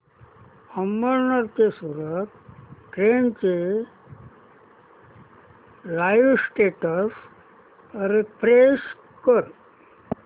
अमळनेर ते सूरत ट्रेन चे live status refresh कर